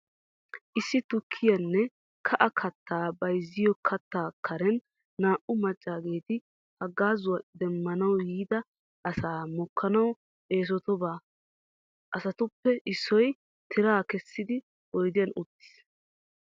Issi tukkiya nne ka'a kattaa bayziyo keettaa karen naa"u maccaageeti haggaazuwa demmanawu yiida asaa mokkanawu eesotoosoba. Asatuppe issoy tiraa kessidi oydiyan uttiis.